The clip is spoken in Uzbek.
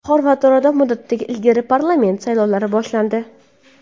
Xorvatiyada muddatidan ilgarigi parlament saylovlari boshlandi.